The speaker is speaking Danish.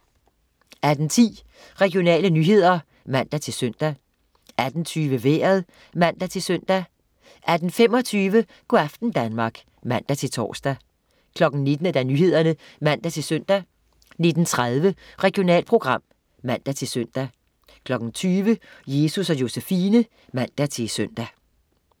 18.10 Regionale nyheder (man-søn) 18.20 Vejret (man-søn) 18.25 Go' aften Danmark (man-tors) 19.00 Nyhederne (man-søn) 19.30 Regionalprogram (man-søn) 20.00 Jesus & Josefine (man-søn)